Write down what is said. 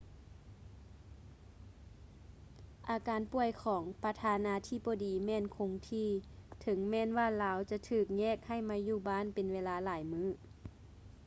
ອາການປ່ວຍຂອງປະທານາທິບໍດີແມ່ນຄົງທີ່ ເຖິງແມ່ນວ່າລາວຈະຖືກແຍກໃຫ້ມາຢູ່ບ້ານເປັນເວລາຫຼາຍມື້